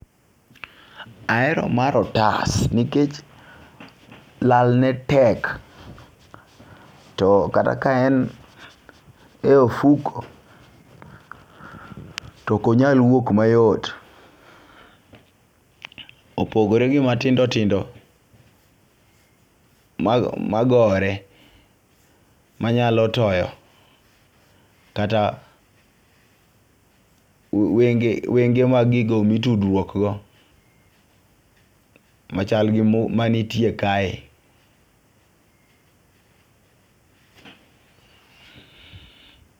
Ahero mar otas nikech lal ne tek to kata ka en e ofuku to konyal wuok mayot. Opogore gi matindotindo ma magore manyalo toyo kata wenge wenge magigo mitudruok go machal gi manitie kae